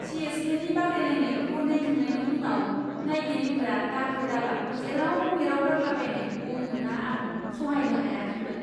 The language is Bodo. सि एस केनि बादायलायनायखौ नायखांनायनि उनाव नायगिरिफ्रा दाखोर दालाखौ जेराव मेराव गारलाबायनायखौ नुना आं सहायनो हायाखैमोन।